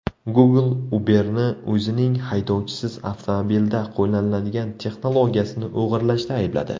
Google Uber’ni o‘zining haydovchisiz avtomobilda qo‘llaniladigan texnologiyasini o‘g‘irlashda aybladi.